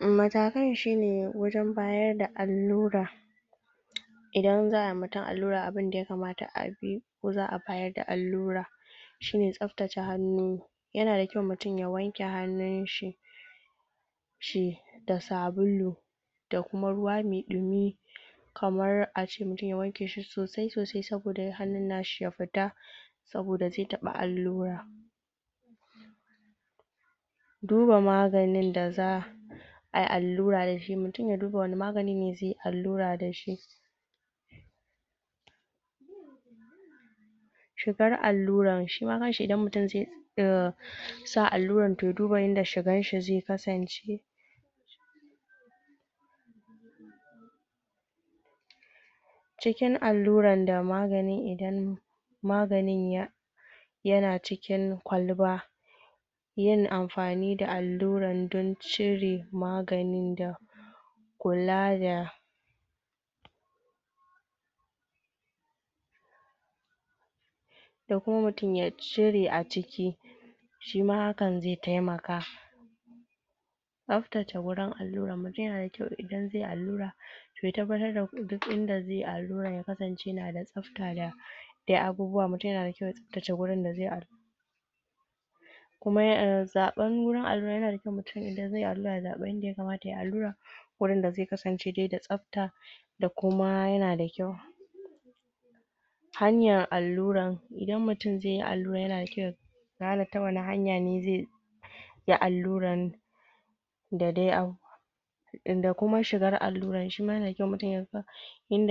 Matakan shine wajen bayar da allura: idan za a yiwa mutum allura abinda ya kamata a bi, ko za a bayar da allura; shine tsabtace hannu. Yana da kyau mutum ya wanke hannun shi? da sabulu, da kuma ruwa mai ɗumi. Kamar a ce mutum ya wanke shi sosai-sosai saboda hannun nashi ya fita, saboda zai taɓa allura. Duba maganin da za ayi allura dashi: mutum ya duba wani magani ne zai yi allura da shi. Shigar allurar: shi ma kan shi idan mutum zai? sa allurar, to ya duba yanda shigan shi zai kasance. Cikin allurar da maganin; idan maganin? yana cikin kwalba, yin amfani da allurar don cire maganin da kula, da da kuma mutum ya cire a ciki, shi ma hakan zai taimaka. Tsaftace wurin allurar: mutum yana da kyau idan zai yi allura, to ya tabbatar da duk inda zai yi allurar ya kasance yana da tsafta, da dai abubuwa. Mutum yana da kyau ya tsabtace wurin da zai allura.? Zaɓar wurin allura: yana da kyau mutum idan zai yi allura ya zaɓa inda ya kamata yayi allura, wurin da zai kasance dai da tsafta,? kuma yana da kyau. Hanyar allurar: idan mutum zai yi allurar yana da kyau ya gane ta wani hanya ne zai yi allurar.?? Shigar allurar, shi ma yana da kyau mutum ya ga?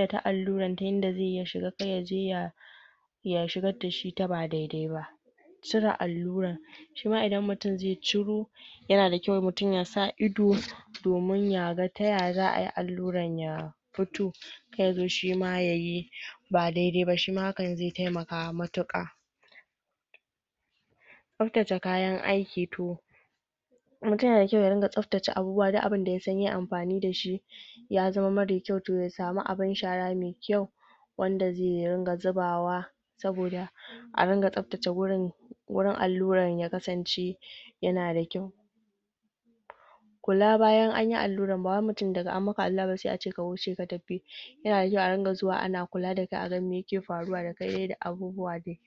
ta yanda zaiyi ya shiga, kada yaje ya shigar dashi ta ba daidai ba. Cire allurar: shi ma idan mutum zai ciro, yana da kyau mutum ya sa ido domin ya ga ta yaya za ayi allurar ya fito. Kar yazo shi ma yayi ba daidai ba, shi ma hakan zai taimaka matuƙa. Tsaftace kayan aiki:? mutum yana da kyau ya ringa tsaftace abubuwa; duk abinda ya san yayi amfani da shi ya zama mare kyau, to ya samu abun shara mai kyau wanda zai ringa zubawa, saboda a ringa tsabtace? wurin allurar, ya kasance yana da kyau. Kula bayan anyi allurar: ba wai mutum daga an maka allura ba sai a ce ka wuce ka tafi, yana da kyau a ringa zuwa ana kula, don a ga mai yake faruwa da kai da abubuwa dai.